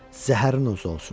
Zəhəriniz olsun!